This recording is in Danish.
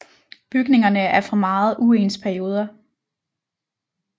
Bygningerne er fra meget uens perioder